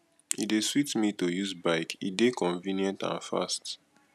e dey sweet me to use bike e dey convenient and fast